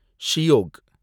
Shyok